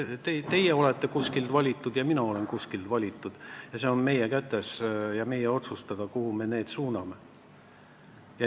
Väga lihtsalt: teie olete kuskilt valitud ja mina olen kuskilt valitud ning see on meie kätes ja meie otsustada, kuhu me selle raha suuname.